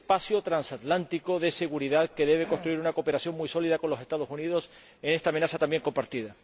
y el tercero es el espacio transatlántico de seguridad, que debe construir una cooperación muy sólida con los Estados Unidos en esta amenaza también compartida.